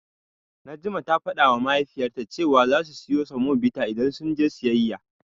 Najma ta fadawa Mahaifiyarta cewa zasu siyo semobita idan sun je siyayya.